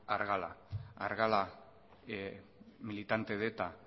argala argala militante de eta